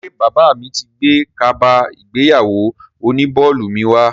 Ṣé bàbá mi ti gbé kaba ìgbéyàwó oní bọ́ọ̀lù mi wá?